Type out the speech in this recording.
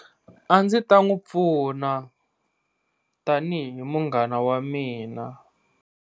A ndzi ta n'wi pfuna tanihi munghana wa mina.